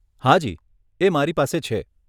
હા જી એ મારી પાસે છે.